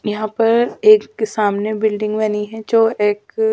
यहां पर एक के सामने बिल्डिंग बनी है जो एक--